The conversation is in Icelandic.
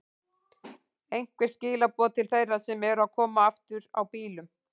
Einhver skilaboð til þeirra sem eru að koma aftur á bílum?